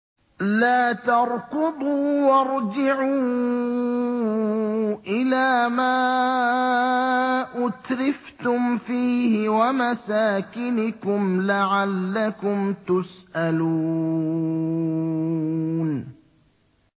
لَا تَرْكُضُوا وَارْجِعُوا إِلَىٰ مَا أُتْرِفْتُمْ فِيهِ وَمَسَاكِنِكُمْ لَعَلَّكُمْ تُسْأَلُونَ